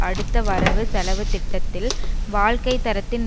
அடுத்த வரவு செலவு திட்டதில் வாழ்க்கை தரத்தின்